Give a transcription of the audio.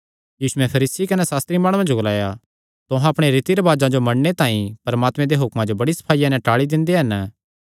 यीशुयैं फरीसी कने सास्त्री माणुआं जो ग्लाया तुहां अपणे रीति रिवाजां जो मन्नणे तांई परमात्मे दे हुक्मां जो बड़ी सफाईया नैं टाल़ी दिंदे हन